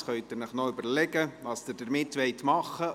Jetzt können Sie sich noch überlegen, was Sie damit tun wollen.